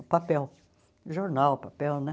O papel, jornal, papel, né?